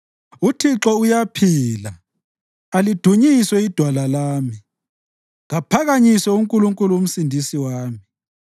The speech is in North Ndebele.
Uthixo uyaphila! Alidunyiswe iDwala lami! Kaphakanyiswe uNkulunkulu uMsindisi wami!